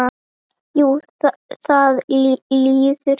Jú, það líður hjá.